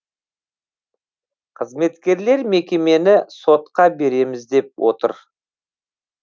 қызметкерлер мекемені сотқа береміз деп отыр